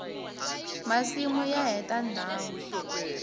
masimu ya heta ndhawu